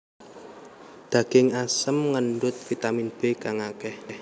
Daging asem ngandhut vitamin B kang akéh